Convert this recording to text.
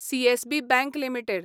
CSB bank limited